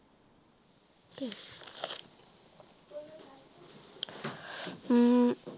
উম